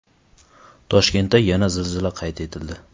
Toshkentda yana zilzila qayd etildi.